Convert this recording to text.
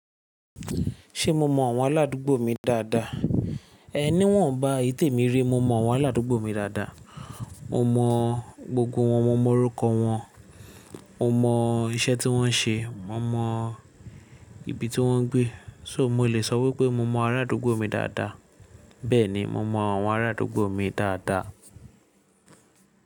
Ṣé mo mọ àwọn aládùúgbò mi dáadáa? É ní wọnbá eyi tè mi rí. Mo mọ àwọn aládùúgbò mi dáadáa. Mo mọ gbogbo wọn, mo mọ orúkọ wọn, mo mọ iṣẹ́ tí wọ́n ń ṣe, mo mọ ibi tí wọ́n ń gbé. So mo lè sọ wípé mo mọ ará àdúgbò mi dáadáa? Bẹ́ẹ̀ni, mo mọ àwọn ará àdúgbò mi dáadáa.